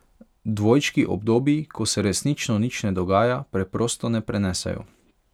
Dvojčki obdobji, ko se resnično nič ne dogaja, preprosto ne prenesejo.